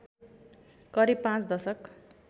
करिब पाँच दशक